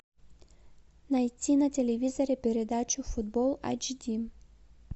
найти на телевизоре передачу футбол эйч ди